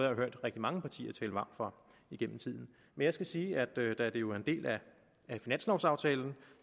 rigtig mange partier tale varmt for igennem tiden men jeg skal sige at da det jo er en del af finanslovaftalen